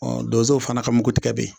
donsow fana ka mugutigɛ be ye